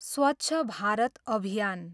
स्वछ भारत अभियान